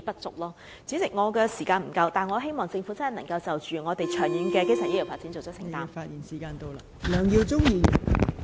代理主席，我的發言時間不足，但我希望政府能切實就香港的長遠基層醫療服務發展訂定工作清單。